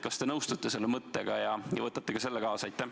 Kas te nõustute selle mõttega ja võtate selle siit kaasa?